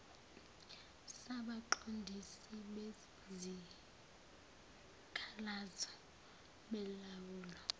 sabaqondisi bezikhalazo belawula